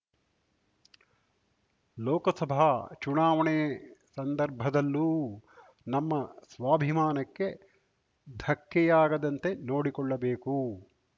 ಲೋಕಸಭಾ ಚುನಾವಣೆ ಸಂದರ್ಭದಲ್ಲೂ ನಮ್ಮ ಸ್ವಾಭಿಮಾನಕ್ಕೆ ಧಕ್ಕೆಯಾಗದಂತೆ ನೋಡಿಕೊಳ್ಳಬೇಕು